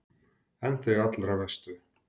En þau allra verstu?